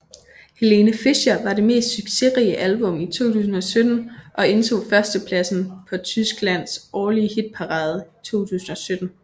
Helene Fischer var det mest succesrige album i 2017 og indtog førstepladsen på Tyskland årlige hitparade 2017